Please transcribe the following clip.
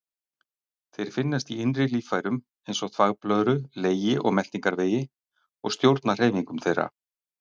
Þeir finnast í innri líffærum, eins og þvagblöðru, legi og meltingarvegi, og stjórna hreyfingum þeirra.